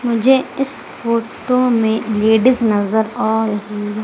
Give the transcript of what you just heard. मुझे इस फोटो में लेडिस नजर आ रही--